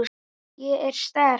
Ég er sterk.